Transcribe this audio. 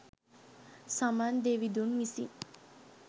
සමන් දෙවිඳුන් විසින්